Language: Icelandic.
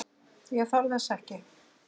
Ég þarf þess ekki.